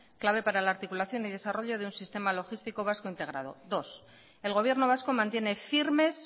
clave para la articulación y desarrollo de un sistema logístico vasco integrado dos el gobierno vasco mantiene firmes